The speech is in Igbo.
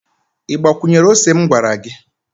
i gbakwunyere ose m gwara gi?